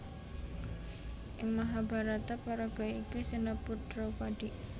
Ing Mahabharata paraga iki sinebut Draupadi